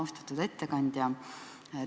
Austatud ettekandja!